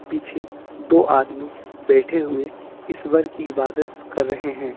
पीछे दो आदमी बैठे हुए ईश्वर की इबादत कर रहे हैं।